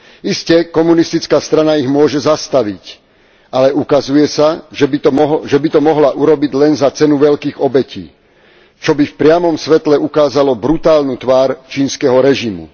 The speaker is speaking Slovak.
Iste, komunistická strana ich môže zastaviť, ale ukazuje sa, že by to mohla urobiť len za cenu veľkých obetí, čo by v priamom svetle ukázalo brutálnu tvár čínskeho režimu.